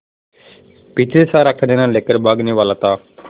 पीछे से सारा खजाना लेकर भागने वाला था